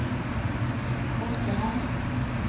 Mosterhamn